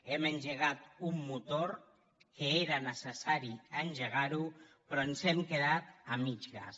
hem engegat un motor que era necessari engegar però ens hem quedat a mig gas